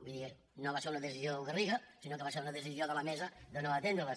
vull dir no va ser una decisió del garriga sinó que va ser una decisió de la mesa de no atendre les